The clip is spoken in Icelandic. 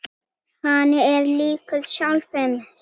Hann er líkur sjálfum sér.